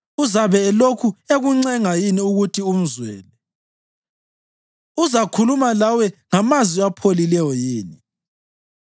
Uzabe elokhu ekuncenga yini ukuthi umzwele? Uzakhuluma lawe ngamazwi apholileyo yini?